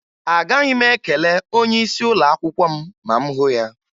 Agaghị m ekele onyeisi ụlọakwụkwọ m ma m hụ ya